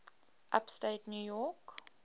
upstate new york